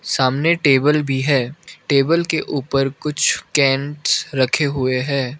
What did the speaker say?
सामने टेबल भी है टेबल के ऊपर कुछ कैन रखे हुए हैं।